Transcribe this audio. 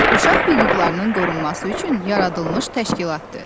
Uşaq hüquqlarının qorunması üçün yaradılmış təşkilatdır.